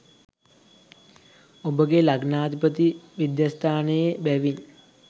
ඔබගේ ලග්නාධිපති විද්‍යස්ථානයේ බැවින්